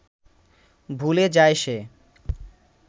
ভুলে যায় সে